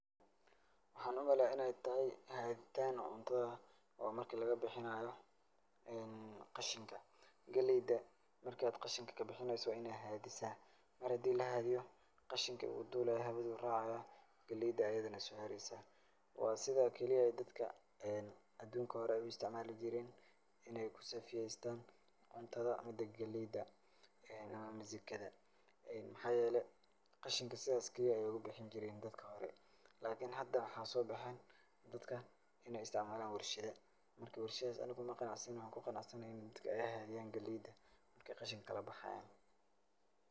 Waxaan u maleeyaa in ay tahay haditaan cuntada oo marka laga bixinaayo khashinka. Gelayda marka aad khashinka ka bixinaysa waa inaa haadisa. Mar hadii la haadiyo khashinka wuu duulaayaa hawaduu raacaya, gelayda ayidana soo heraysa. Waa sida keli ah dadka adunka hore u istacmaali jireen inay ku saafiyeystaan cuntada ama gelayda ama misingada. Maxaa yeelay khashinka sidas keli ayaa ugu bixin jireen dadka hore. lakini hada waxaa soo baxeen dadka in ay istacmaalaan warshido. Marka, warshidahaas ani ku ma qanacsani waxaan ku qanacsanahay midka ay haadaan gelayda marka khashanka kala bahayaan.